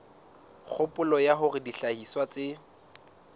kgopolo ya hore dihlahiswa tse